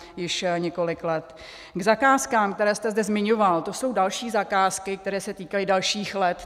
K zakázkám, které jste zde zmiňoval, to jsou další zakázky, které se týkají dalších let.